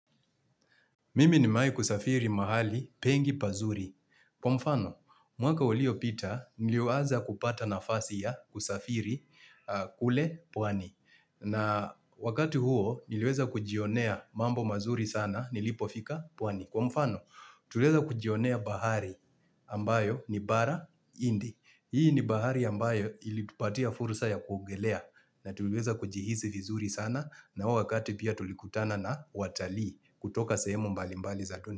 Mimi nimewai kusafiri mahali pengi pazuri. Kwa mfano, mwaka uliopita niliuaza kupata nafasi ya kusafiri kule pwani. Na wakati huo niliweza kujionea mambo mazuri sana nilipofika pwani. Kwa mfano, tuliweza kujionea bahari ambayo ni bara indi. Hii ni bahari ambayo ilitupatia fursa ya kuongelea. Na tuweza kujihisi vizuri sana na wakati pia tulikutana na watali kutoka sehemu mbali mbali za dunia.